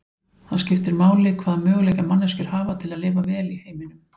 Það skiptir máli hvaða möguleika manneskjur hafa til að lifa vel í heiminum.